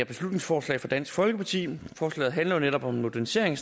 beslutningsforslag fra dansk folkeparti forslaget handler jo netop om en modernisering